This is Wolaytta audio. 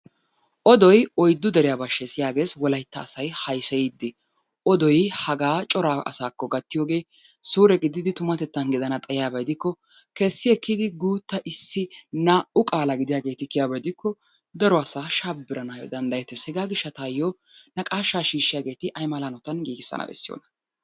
Odoy oyddu deriya bashshees yaagees wolaytta asay hayseyiiddi. Odoy hagaa cora asaakko gattiyogee suure gididi tumatettan gidana xayiyaba gidikko kessi ekkidi guutta issi naa"u qaala gidiyageeti kiyiyaba gidikko daro asaa shabbiranaayyo danddayettees. Hegaa gishshataayyo naqaashaa shiishshiyageeti ay mala hanotan giigissan bessiyonaa?